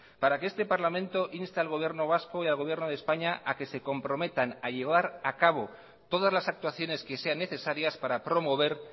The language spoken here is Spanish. para que este parlamento inste al gobierno vasco y al gobierno de españa a que se comprometan a llevar acabo todas las actuaciones que sean necesarias para promover